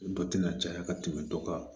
Dɔ tɛna caya ka tɛmɛ dɔ kan